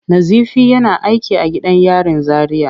Nazifi yana aiki a gidan yarin Zaria.